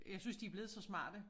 Jeg synes de blevet så smarte